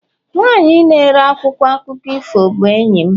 nwanyị na-ere akwụkwọ akụkọ ifo bụ enyi m